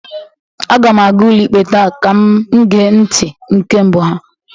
aga m aga ụlọikpe taa ka m gee ntị nke mbụ ha